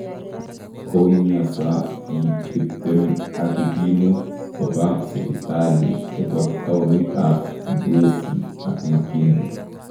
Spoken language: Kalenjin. Koumiasa biik 20 ak kikimuut kobaa sibitali chebo taonit ab Kibwezi ak Makindu